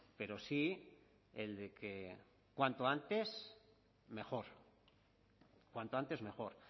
pero sí el de que cuanto antes mejor cuanto antes mejor